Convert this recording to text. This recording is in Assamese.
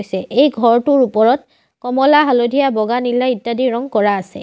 এই ঘৰটোৰ ওপৰত কমলা হালধীয়া বগা নীলা ইত্যাদি ৰঙ কৰা আছে।